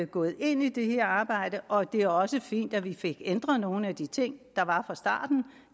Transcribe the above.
gået ind i det her arbejde og det er også fint at vi fik ændret nogle af de ting der var fra starten